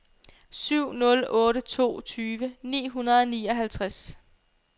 syv nul otte to tyve ni hundrede og nioghalvtreds